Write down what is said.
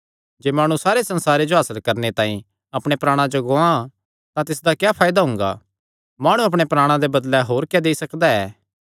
जे माणु सारे संसारे जो हासल करणे तांई अपणे प्राणा जो गुआं तां तिसियो क्या फायदा हुंगा माणु अपणे प्राणा दे बदले होर क्या देई सकदा ऐ